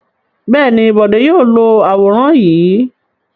Bẹ́ẹ̀ ni, Bọ̀dé yóò lo àwòrán yìí.